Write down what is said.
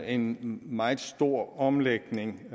en meget stor omlægning